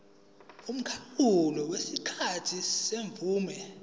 umkhawulo wesikhathi semvume